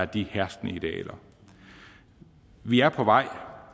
de herskende idealer vi er på vej